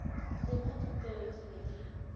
lema dipeu di be di